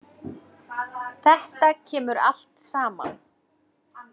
Þetta kemur allt saman.